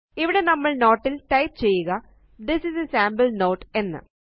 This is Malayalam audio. ഇവിടെ നമ്മള് നോട്ടിൽ ടൈപ്പ് ചെയ്യുക this is a sample note എന്ന്